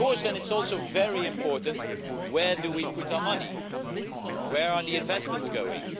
It is also very important where we put our money. Where are the investments going?